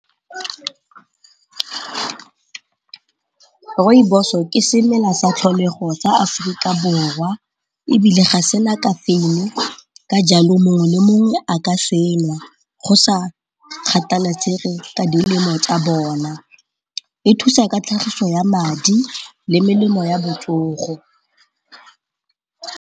Rooibos-o ke semela sa tlholego tsa Aforika Borwa ebile ga sena kafeine ka jalo mongwe le mongwe a ka senwa go sa kgathalatsege ka dilemo tsa bone, e thusa ka tlhagiso ya madi le melemo ya botsogo.